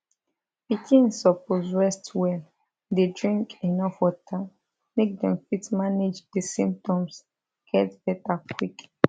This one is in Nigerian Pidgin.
pikin suppose rest well dey drink enuf water make dem fit manage di symptoms get beta quick